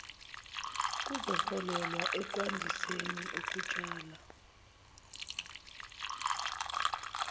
kuzoholela ekwandiseni ukutshala